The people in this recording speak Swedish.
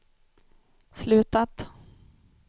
slutat